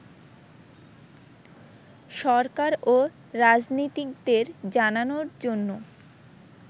সরকার ও রাজনীতিকদের জানানোর জন্য